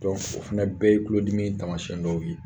Dɔnku o fɛnɛ bɛɛ ye kulodimi taamasɛn dɔw ye